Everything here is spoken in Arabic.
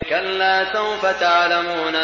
كَلَّا سَوْفَ تَعْلَمُونَ